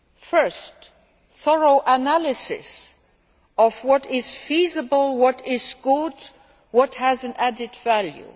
First, a thorough analysis of what is feasible, what is good, what has added value.